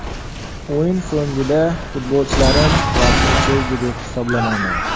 O‘yin so‘ngida futbolchilarim vaqtni cho‘zdi deb hisoblamayman.